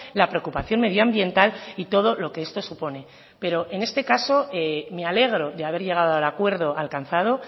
la preocupación medioambiental y todo lo que esto supone pero en este caso me alegro de haber llegado al acuerdo alcanzado